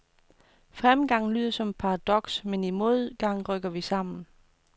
Fremgangen lyder som et paradoks, men i modgang rykker vi sammen.